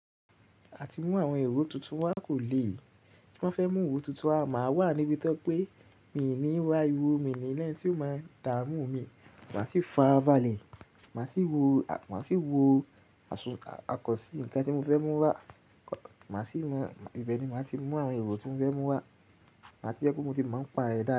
Àti mú àwọn èrò tuntun wá kò lè. Tin ba fẹ́ mú èrò tuntun, máa wà níbi tọ ye pé mi ní wá arìwọ mi ni lẹni tí ó máa dààmú mi. Màá sì fàrábalẹ̀, màá sì wo, màá sì wo àsùn, àkọsí, ǹkan tí mo fẹ́ mú wá. Màá sì mọ, ibẹ̀ ni màá ti mú àwọn èrò tí mo fẹ́ mú wá. Màá ti jẹ́ kó mo ti máa ń pa ẹ̀ dá.